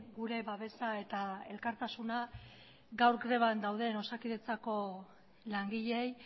gure babesa eta elkartasuna gaur greban dauden osakidetzako langileei